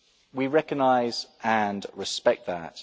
We recognise and respect that.